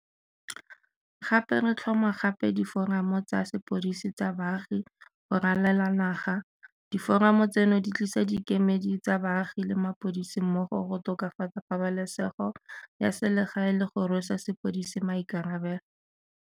Gape re tlhoma gape diforamo tsa sepodisi sa baagi go ralala naga. Diforamo tseno di tlisa dikemedi tsa baagi le mapodisi mmogo go tokafatsa pabalesego ya selegae le go rwesa sepodisi maikarabelo.